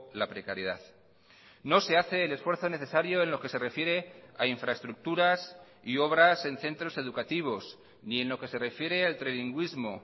la precariedad no se hace el esfuerzo necesario en lo que se refiere a infraestructuras y obras en centros educativos ni en lo que se refiere al trilingüismo